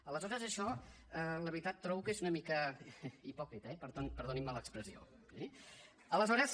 aleshores això la veritat trobo que és una mica hipòcrita eh i per tant perdonin me l’expressió eh aleshores